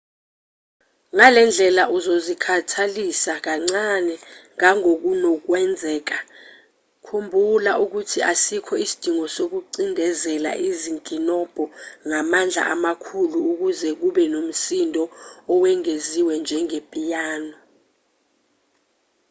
ngalendlela uzozikhathalisa kancane ngangokunokwenzeka khumbula ukuthi asikho isidingo sokucindezela izinkinobho ngamandla amakhulu ukuze kube nomsindo owengeziwe njenge-piano